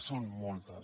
són moltes